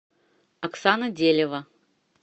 оксана делева